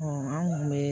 an kun bɛ